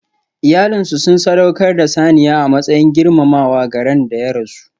Iyalinsu sun sadaukar da saniya a matsayin girmamawa ga ran da ya rasu.